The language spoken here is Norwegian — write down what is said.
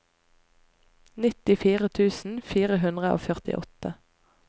nittifire tusen fire hundre og førtiåtte